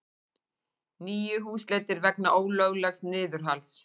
Níu húsleitir vegna ólöglegs niðurhals